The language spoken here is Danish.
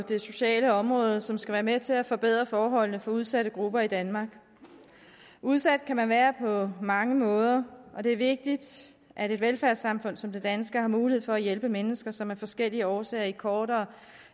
det sociale område som skal være med til at forbedre forholdene for udsatte grupper i danmark udsat kan man være på mange måder og det er vigtigt at et velfærdssamfund som det danske har mulighed for at hjælpe mennesker som af forskellige årsager i kortere